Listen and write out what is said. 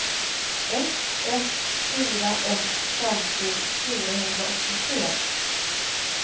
ett ett fyra ett femtio fyrahundraåttiotre